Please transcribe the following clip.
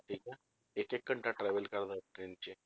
ਠੀਕ ਹੈ ਇੱਕ ਇੱਕ ਘੰਟਾ travel ਕਰਦਾ ਹੈ train 'ਚ